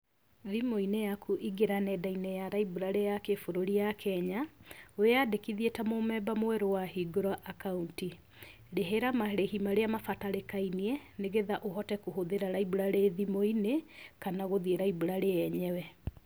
Thimũ-inĩ yaku ingĩra nenda-inĩ ya library ya kĩbũrũri ya Kenya, wĩandĩkithie ta mũmember mwerũ wahingũra akaunti, rĩhĩra marĩhi marĩa mabatarĩka-inie, nĩgetha ũhote kũhũthĩra library thimũ-inĩ kana gũthiĩ library yenyewe.